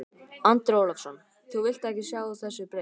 Andri Ólafsson: Þú vilt ekki sjá þessu breytt?